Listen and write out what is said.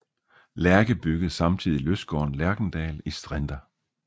Lerche byggede samtidig lystgården Lerchendal i Strinda